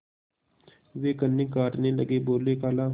वे कन्नी काटने लगे बोलेखाला